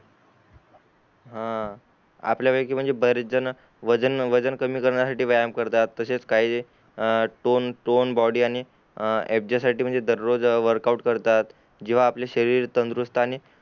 हां आपल्या पैकि बरेच जन वजन वजन कमी करण्यासाठी व्यायाम करतात तसेच कमी टोन टोन बॉडी आणि साठो म्हणजे दररोज वर्क आऊट करतात जेव्हा आपला शरीर तंदुरुस्त आणि